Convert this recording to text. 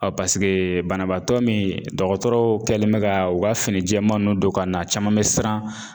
banabaatɔ min dɔgɔtɔrɔ kɛlen bɛ ka u ka fini jɛman ninnu don ka na a caman bɛ siran